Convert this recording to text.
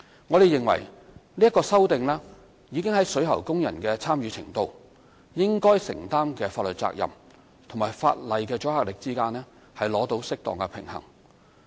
我們認為，這項修訂已在水喉工人的參與程度、應該承擔的法律責任和法例的阻嚇力之間取得適當平衡。